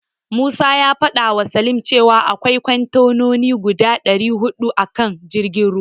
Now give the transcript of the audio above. Musa ya fadawa Salim cewa akwai kontenoni guda dari hudu a kan jirgin ruwan.